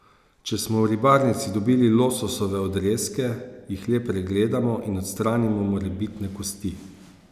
Če smo v ribarnici dobili lososove odrezke, jih le pregledamo in odstranimo morebitne kosti.